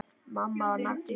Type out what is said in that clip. Mamma var nagli.